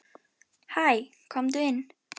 Hæ, komdu inn.